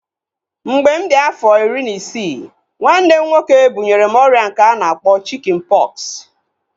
Mgbe mụ di afọ iri na isii, nwanne m nwoke bunyere m ọrịa nke a na-akpọ chikin pọksi